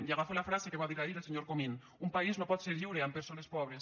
i agafo la frase que va dir ahir el senyor comín un país no pot ser lliure amb persones pobres